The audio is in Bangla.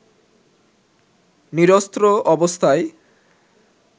নিরস্ত্র অবস্থায়